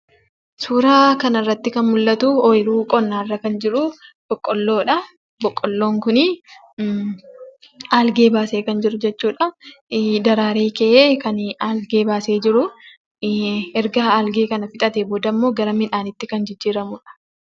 Suuraa kana irratti kan mul'atu, ooyiruu qonnaa irra kan jiru boqqolloodha. Boqqolloon kun algee baasee kan jiru jechuudha. Daraaree ka'ee, kan algee baasee jiru. Erga algee kana fixatee booda ammoo ,gara midhaaniitti kan jijjiiramuudha.